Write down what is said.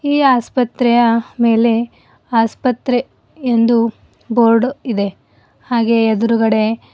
ಈ ಆಸ್ಪತ್ರೆಯ ಮೇಲೆ ಆಸ್ಪತ್ರೆ ಎಂದು ಬೋರ್ಡ್ ಇದೆ ಹಾಗೆ ಎದ್ರುಗಡೆ--